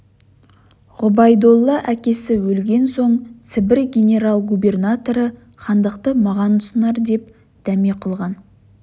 ғұбайдолла әкесі өлген соң сібір генерал-губернаторы хандықты маған ұсынар деп дәме қылған